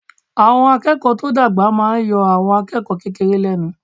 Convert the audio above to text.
Àwọn akẹ́kọ̀ọ́ tó dàgbà máa yọ àwọn akẹ́kọ̀ọ́ kékeré lẹ́nu.